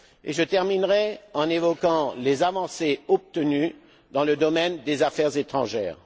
Je terminerai en évoquant les avancées obtenues dans le domaine des affaires étrangères.